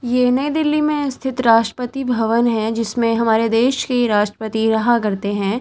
ये नई दिल्ली में स्थित राष्ट्रपति भवन है जिसमें हमारे देश के राष्ट्रपति रहा करते हैं।